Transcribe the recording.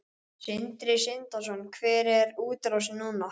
Sindri Sindrason: Hver er útrásin núna?